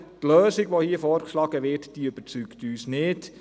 Aber die Lösung, die hier vorgeschlagen wird, überzeugt uns nicht.